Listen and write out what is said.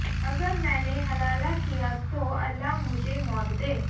अगर मैंने हलाला किया तो अल्लाह मुझे मौत दे